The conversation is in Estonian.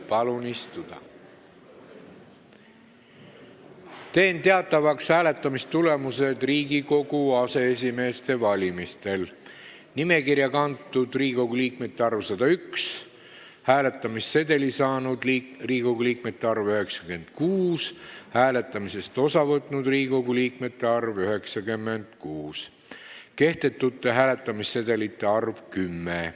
Teen teatavaks hääletamistulemuse Riigikogu aseesimeeste valimisel: nimekirja kantud Riigikogu liikmete arv – 101, hääletamissedeli saanud Riigikogu liikmete arv – 96, hääletamisest osa võtnud Riigikogu liikmete arv – 96, kehtetute hääletamissedelite arv – 10.